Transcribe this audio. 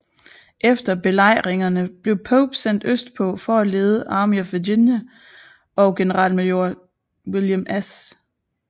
Efter belejringne blev Pope sendt østpå for at lede Army of Virginia og generalmajor William S